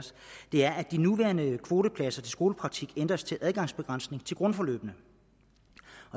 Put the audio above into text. det er at de nuværende kvotepladser til skolepraktik ændres til adgangsbegrænsning til grundforløbene